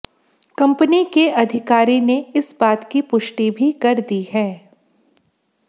company के अधिकारी ने इस बात की पुष्टि भी कर दी है